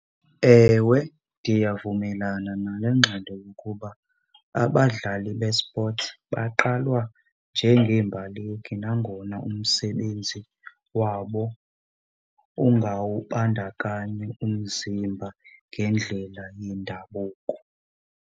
Ewe, ndiyavumelana nale ngxelo yokuba abadlali bespothi baqalwa njengeembaleki nangona umsebenzi wabo ungawubandakanyi umzimba ngendlela yendabuko.